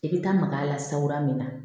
I bɛ taa mag'a la sara min na